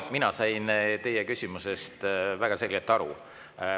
Mina sain teie küsimusest väga selgelt aru.